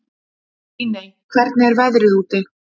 Líney, hvernig er veðrið úti?